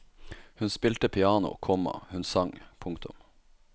Hun spilte piano, komma hun sang. punktum